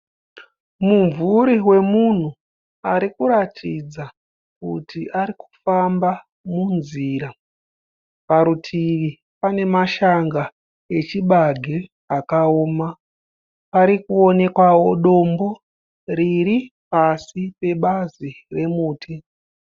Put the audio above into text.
Mumvuri wemunhu arikuratidza kuti arikufamba munzira. Parutivi pane mashanga echibage akaoma. Parikuonekwawo dombo riri pasi pebazi remuti.